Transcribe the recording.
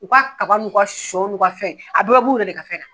U ka kaba n'u ka sɔ n'u ka fɛn a bɛɛ bɛ b'u yɛrɛ de ka fɛn na.